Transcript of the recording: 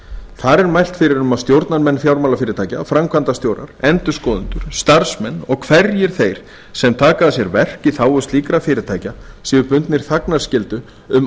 þar er mælt fyrir um að stjórnarmenn fjármálafyrirtækja framkvæmdastjórar endurskoðendur starfsmenn og hverjir þeir sem taka að sér verk í þágu slíkra fyrirtækja séu bundnir þagnarskyldu um